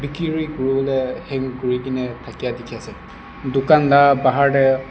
kurina hang kuri kina takya tiki ase tucan la bahar dae.